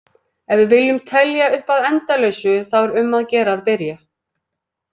Ef við viljum telja upp að endalausu þá er um að gera að byrja!